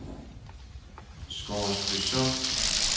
Scoresbysund